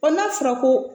n'a fɔra ko